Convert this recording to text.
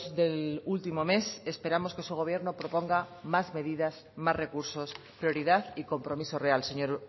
del último mes esperamos que su gobierno proponga más medidas más recursos prioridad y compromiso real señor